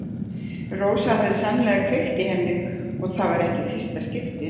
Rósa hafði sannarlega kveikt í henni og það var ekki í fyrsta skipti.